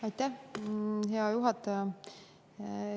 Aitäh, hea juhataja!